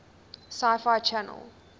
sci fi channel